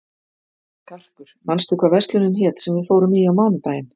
Karkur, manstu hvað verslunin hét sem við fórum í á mánudaginn?